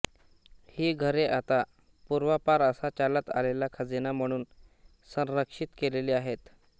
ही घरे आता पूर्वांपार असा चालत आलेला खजिना म्हणून संरक्षित केलेली आहेत